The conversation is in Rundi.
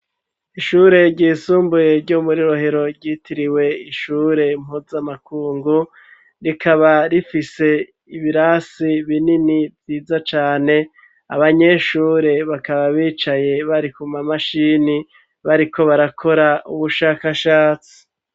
Ishure ryisumbuye, ryo muri Rohero, ryitiriwe, ishure mpuzamakungu; rikaba rifise, ibirasi binini, vyiza cane; abanyeshure, bakaba bicaye, bari ku mamashini, bariko barakora, ubushakashatsi.